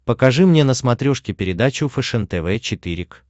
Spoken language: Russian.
покажи мне на смотрешке передачу фэшен тв четыре к